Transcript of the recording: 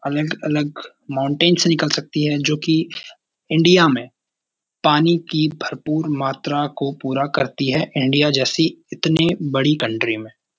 अलग-अलग माउंटेन से निकल सकती है जो कि इंडिया में पानी की भरपूर मात्रा को पूरा करती है इंडिया जैसी इतनी बड़ी कंट्री में --